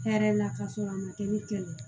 Hɛrɛ la k'a sɔrɔ a ma kɛ ne kɛlɛ ye